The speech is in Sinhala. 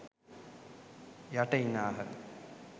යට ඉන්නාහ.